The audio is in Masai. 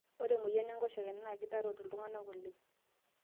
ore emoyian enkoshoke naa kitarot iltung'anak oleng'